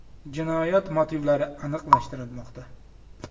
Jinoyat motivlari aniqlashtirilmoqda.